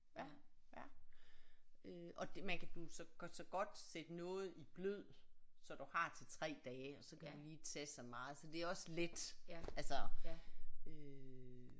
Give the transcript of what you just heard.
Ja ja øh og det man kan du så kan så godt sætte noget i blød så du har til 3 dage og så kan du lige tage så meget så det er også let altså øh